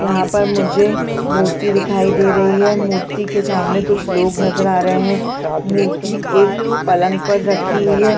यहाँ पर मुझे एक मूर्ति दिखाई दे रही है मूर्ति के समाने कुछ लोग नज़र आ रहै है मूर्ति एक पलंग पर रखी हुई है।